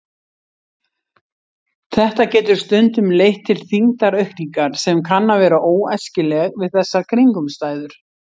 Þetta getur stundum leitt til þyngdaraukningar sem kann að vera óæskileg við þessar kringumstæður.